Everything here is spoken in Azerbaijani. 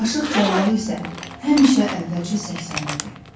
Aşıq Cəlalı isə həmişə əvvəlcə səksənirdi.